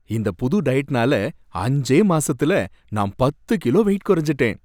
இந்த புது டயட்னால அஞ்சே மாசத்துல நான் பத்து கிலோ வெயிட் குறஞ்சுட்டேன்.